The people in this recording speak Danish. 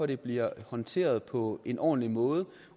det bliver håndteret på en ordentlig måde